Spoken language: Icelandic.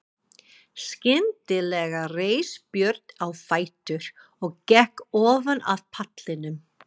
Skyndilega reis Björn á fætur og gekk ofan af pallinum.